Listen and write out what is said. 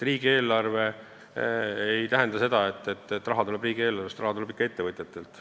Riigieelarve ei tähenda seda, et raha tuleb riigieelarvest, raha tuleb ikka ettevõtjatelt.